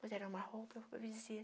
Puseram uma roupa, eu fui para